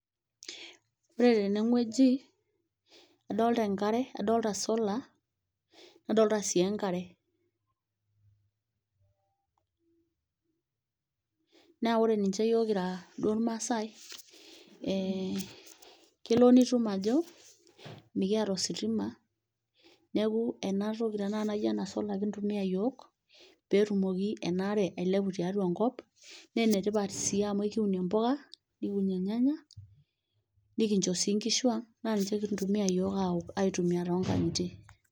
Ooore teene wueji adolta enkare, adolta solar nadolta sii enkare silence naa oore ninche iyiok duo kiira irmaasae kelo nitum aajo mekiata ositima, niaku ena toki tenakata naijo eena solar kintumia iyiok peyie etumoki enaare ailepu tiatua enkop, naa ene tipat sii amuu ekiunie impuka, nekiunie irnyanya nekincho sii inkishung', naa ninche kintumia iyiok aok aitumia tonkang'itie.